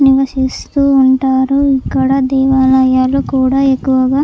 నివసిస్తూ ఉంటారు అక్కడ దేవాలయాలు కూడా ఎక్కువగా --